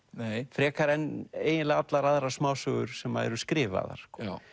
frekar en eiginlega allar aðrar smásögur sem eru skrifaðar